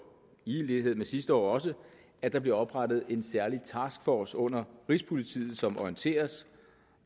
i lighed med sidste år også at der bliver oprettet en særlig taskforce under rigspolitiet som orienteres